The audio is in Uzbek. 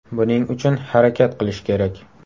Buning uchun harakat qilish kerak.